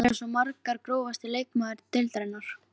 Þær eru svo margar Grófasti leikmaður deildarinnar?